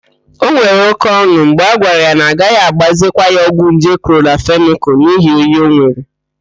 O nwere óké ọn̄ụ mgbe a gwara ya na agaghị agbazikwa ya ọgwụ nje klọramfenịkal n'ihi oyi o nwere.